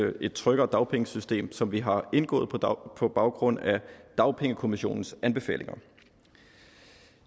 om et tryggere dagpengesystem som vi har indgået på baggrund af dagpengekommissionens anbefalinger